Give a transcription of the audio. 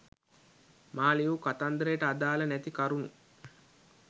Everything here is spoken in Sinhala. මා ලියූ කතන්දරයට අදාල නැති කරුණු